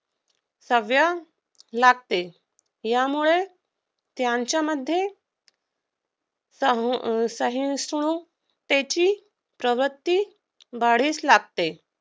सभ्य लागते. यामुळे त्यांच्यामध्ये संहिष्णुतेची प्रवृत्ती वाढीस लागते.